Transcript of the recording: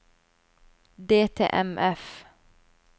DTMF